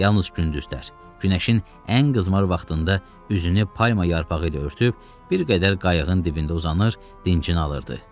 Yalnız gündüzlər günəşin ən qızmar vaxtında üzünü palma yarpağı ilə örtüb bir qədər qayığın dibində uzanır, dincini alırdı.